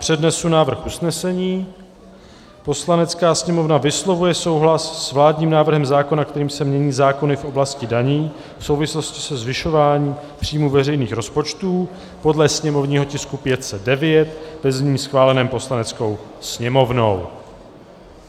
Přednesu návrh usnesení: "Poslanecká sněmovna vyslovuje souhlas s vládním návrhem zákona, kterým se mění zákony v oblasti daní v souvislosti se zvyšováním příjmů veřejných rozpočtů, podle sněmovního tisku 509, ve znění schváleném Poslaneckou sněmovnou."